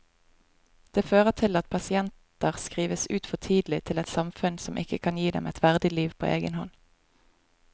Det fører til at pasienter skrives ut for tidlig til et samfunn som ikke kan gi dem et verdig liv på egen hånd.